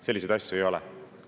Selliseid asju ei ole.